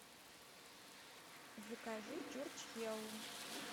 закажи чурчхеллу